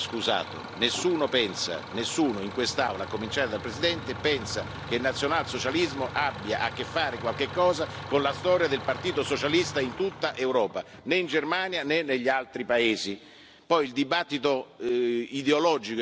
Nessuno in quest'Aula, a cominciare dal Presidente, pensa che il nazionalsocialismo abbia a che fare qualcosa con la storia del Partito socialista in tutta Europa, né in Germania né negli altri paesi. Poi il dibattito ideologico e culturale è un'altra cosa.